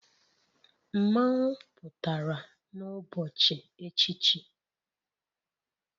Mmanwu pụtara n'ụbọchị echichi,.